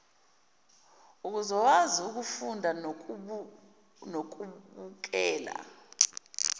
uzokwazi ukufunda nokubukela